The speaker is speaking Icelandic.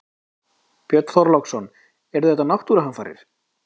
Björn Þorláksson: Þetta eru náttúruhamfarir?